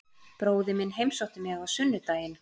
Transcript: Bróðir minn heimsótti mig á sunnudaginn.